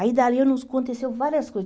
Aí dali eu aconteceu várias coisas.